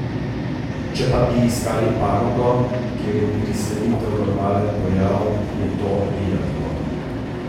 Če pa bi iskali panogo, kjer je priselitev normalen pojav, je to biatlon.